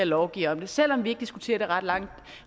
lovgiver om det selv om vi ikke diskuterer det ret mange